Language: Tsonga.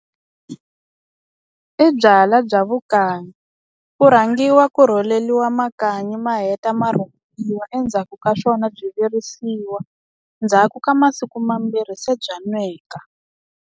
I byalwa bya vukanyi ku rhangiwa ku rholeliwa makanyi ma heta ma rhumbuliwa endzhaku ka swona byi virisiwa ndzhaku ka masiku mambirhi se bya nweka.